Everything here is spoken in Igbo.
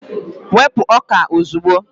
wepụ ọka a ozugbo!